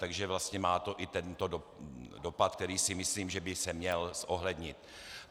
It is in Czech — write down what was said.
Takže vlastně má to i tento dopad, který si myslím, že by se měl zohlednit.